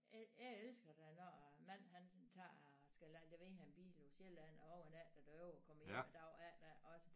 Jeg elsker da når æ mand han tager skal levere en bil på Sjælland og overnatter derovre kommer hjem æ dag efter også